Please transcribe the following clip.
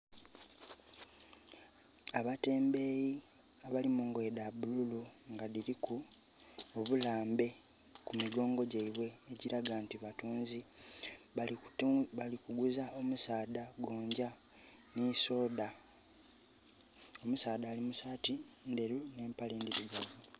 Abatembeeyi abali mungoye dha bululu nga dhiliku obulambe ku migongo gyaibwe, ekilaga nti batunzi. Balikuguza omusaadha gonja ni soda. Omusaadha ali mu saati ndheru n'empale ndhirugavu.